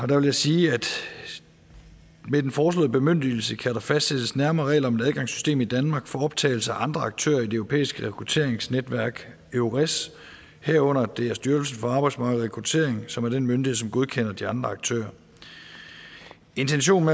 der vil jeg sige at med den foreslåede bemyndigelse kan der fastsættes nærmere regler om et adgangssystem i danmark for optagelse af andre aktører i det europæiske rekrutteringsnetværk eures herunder at det er styrelsen for arbejdsmarked og rekruttering som er den myndighed som godkender de andre aktører intentionen